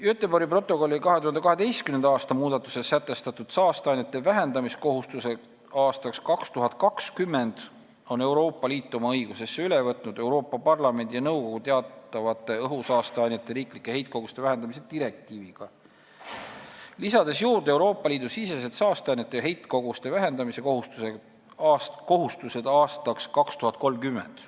Göteborgi protokolli 2012. aasta muudatustes sätestatud saasteainete heidete vähendamise kohustused aastaks 2020 on Euroopa Liit oma õigusesse üle võtnud Euroopa Parlamendi ja nõukogu teatavate õhusaasteainete riiklike heitkoguste vähendamise direktiiviga, lisades juurde Euroopa Liidu sisesed saasteainete heitkoguste vähendamise kohustused aastaks 2030.